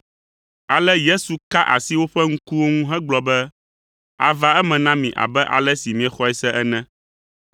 Ale Yesu ka asi woƒe ŋkuwo ŋu hegblɔ be, “Ava eme na mi abe ale si miexɔe se ene.”